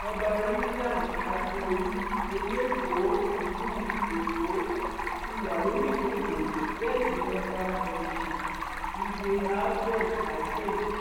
ọba rilàn akíọlù ẹlẹkọọ ìlú èkó ti wà lórí ìjókòó bẹẹ sí ni òbí onisha igbe alfrerd acheb